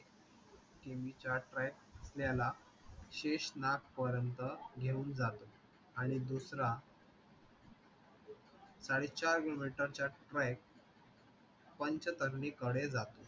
किमीचा track असलेला शेषनाग पर्यंत घेऊन जातो. आणि दूसरा साडेचार kilometer चा track पंचतरणीकडे जातो.